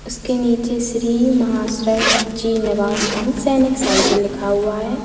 उसके नीचे श्री महाशय जी निवास कम सैनिक साइकिल लिखा हुआ है।